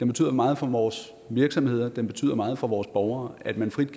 betyder meget for vores virksomheder det betyder meget for vores borgere at man frit